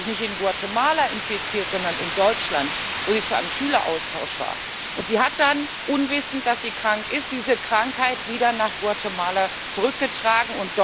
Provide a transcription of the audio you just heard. Aber sie hat sich nicht in Guatemala infiziert, sondern in Deutschland, wo sie zu einem Schüleraustausch war, und sie hat dann nicht wissend, dass sie krank ist diese Krankheit wieder nach Guatemala zurückgetragen.